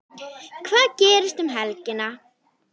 Hvað gerist um helgina?